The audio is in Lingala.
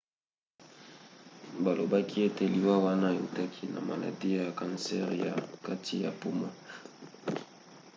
balobaki ete liwa wana eutaki na maladi ya kansere ya kati ya poumon